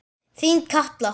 Þín Katla.